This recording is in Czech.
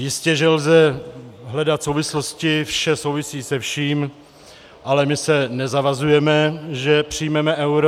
Jistě že lze hledat souvislosti, vše souvisí se vším, ale my se nezavazujeme, že přijmeme euro.